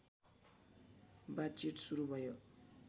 बातचित सुरु भयो